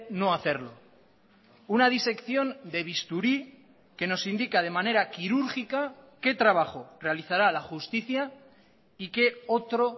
no hacerlo una disección de bisturí que nos indica de manera quirúrgica qué trabajo realizará la justicia y qué otro